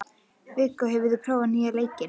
Viggó, hefur þú prófað nýja leikinn?